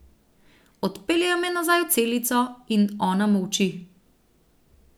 Odpeljejo me nazaj v celico in ona molči.